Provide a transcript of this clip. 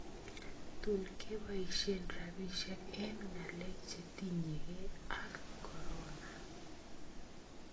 Tuun keboisye rabisyek eng ng�aleek chetinye kee ak corona